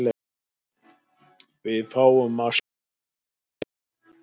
Við fáum að sjá það í dag.